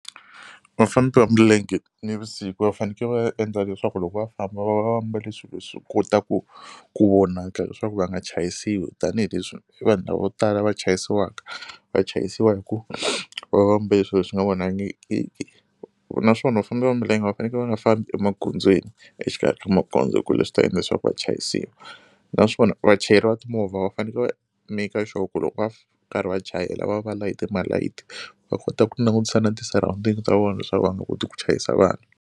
Vafambi va milenge nivusiku va faneke va endla leswaku loko va famba va va mbale swilo leswi kotaku ku vonaka leswaku va nga chayisiwi tanihileswi i vanhu lava vo tala va chayisiwaka va chayisiwa hi ku va va va mbale swilo leswi nga vonangikiki. Naswona vafambi va milenge va faneke va nga fambi emagondzweni exikarhi ka magondzo hi ku leswi swi ta endla leswaku va chayisiwa naswona vachayeri va timovha va faneke va make sure ku loko va karhi va chayela va va va layite ma-light va kota ku langutisa na ti- surrounding ta vona leswaku va nga koti ku chayisa vanhu.